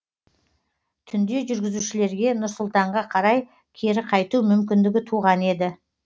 түнде жүргізушілерге нұр сұлтанға қарай кері қайту мүмкіндігі туған еді